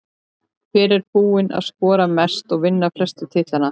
Hver er búinn að skora mest og vinna flestu titlana?